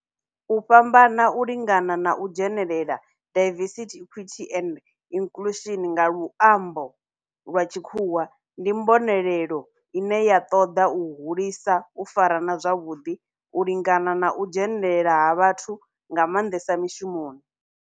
U fhambana, u lingana na u dzhenelela, diversity, equity and inclusion nga luambo lwa tshikhuwa, ndi mbonelelo ine ya toda u hulisa u farana zwavhudi, u lingana na u dzhenelela ha vhathu nga mandesa mishumoni.